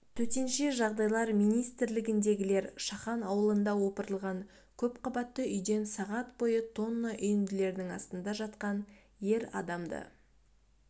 төтенше жағдайлар министрлігіндегілер шахан ауылында опырылған көпқабатты үйден сағат бойы тонна үйінділердің астында жатқан ер адамды